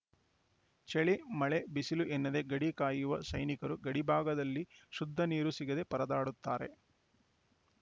ಚಳಿ ಮಳೆ ಬಿಸಿಲು ಎನ್ನದೆ ಗಡಿ ಕಾಯುವ ಸೈನಿಕರು ಗಡಿ ಭಾಗದಲ್ಲಿ ಶುದ್ಧ ನೀರು ಸಿಗದೆ ಪರದಾಡುತ್ತಾರೆ